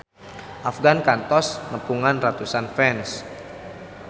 Afgan kantos nepungan ratusan fans